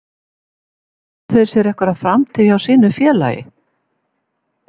Áttu þeir sér einhverja framtíð hjá sínu félagi?